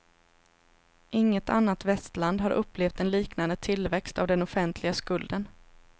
Inget annat västland har upplevt en liknande tillväxt av den offentliga skulden.